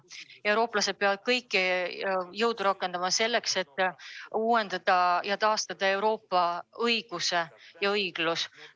Eurooplased peavad kõik jõud rakendama selleks, et uuendada ja taastada Euroopa õigus ja õiglus.